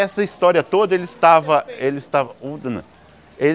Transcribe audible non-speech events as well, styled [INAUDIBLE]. Essa história toda, ele estava... Ele estava [UNINTELLIGIBLE] ele...